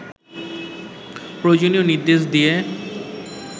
প্রয়োজনীয় নির্দেশ দিয়ে